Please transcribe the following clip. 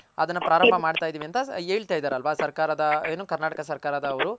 ಅದನ್ನ ಪ್ರಾರಂಬ ಮಾಡ್ತಾ ಇದಿವಿ ಅಂತ ಹೇಳ್ತ ಇದರಲ್ಲ ಏನು ಸರ್ಕಾರದ ಕರ್ನಾಟಕ ಸರ್ಕಾರದವರು.